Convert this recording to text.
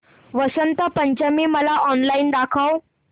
वसंत पंचमी मला ऑनलाइन दाखव